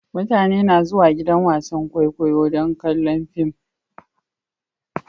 Mutane na zuwan gidan wasan kwaikwayo don kallon fim.